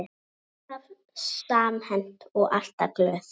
Alltaf samhent og alltaf glöð.